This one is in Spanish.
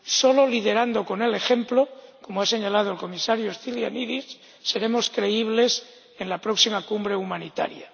Solo liderando con el ejemplo ―como ha señalado el comisario Stylianides―, seremos creíbles en la próxima Cumbre Humanitaria.